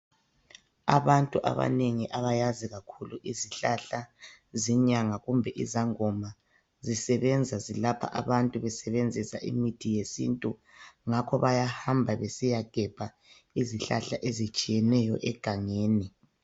Abantu abanengi abayazi kakhulu izihlahla zinyanga kumbe izangoma zisebenza zilapha abantu besebenzisa imithi yesintu ngakho bayahamba besiyagebha izihlahla ezitshiyeneyo egangeni.